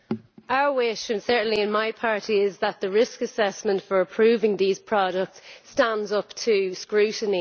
Our wish, certainly in my party, is that the risk assessment for approving these products stands up to scrutiny.